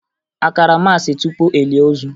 A kara maasị tupu e lie ozu?